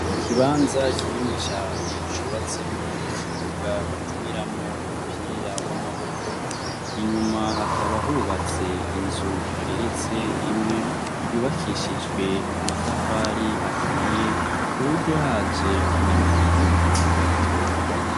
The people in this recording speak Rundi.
Ikibanza kinini cane cubatsemwo ikibuga bakiniramwo umupira w'amaboko, inyuma hakaba hubatse inzu igeretse rimwe yubakishijwe amatafari ahiye kuburyo haje nkanyamugigima itogwa.